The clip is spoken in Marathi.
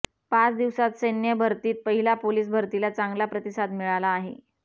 पाच दिवसात सैन्य भरतीत महिला पोलिस भरतीला चांगला प्रतिसाद मिळाला आहे